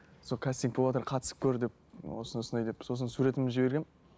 сол кастинг боватыр қатысып көр деп осы осындай деп сосын суретімді жібергенмін